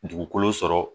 Dugukolo sɔrɔ